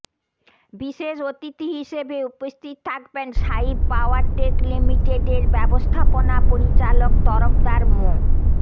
বিশেষ অতিথি হিসেবে উপস্থিত থাকবেন সাইফ পাওয়ারটেক লিমিটেডের ব্যবস্থাপনা পরিচালক তরফদার মো